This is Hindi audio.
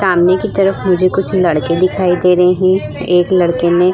सामने की तरफ मुझे कुछ लड़के दिखाई दे रहे है एक लड़का ने --